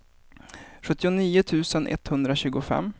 sjuttionio tusen etthundratjugofem